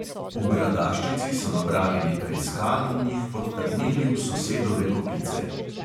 V gradaščici so nabrali nekaj skal in jih podtaknili v sosedove kopice.